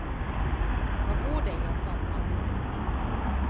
Hva bor det i en sånn mann?